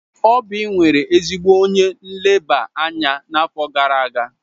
Oby nwere ezigbo onye nleba anya n'afọ gara aga.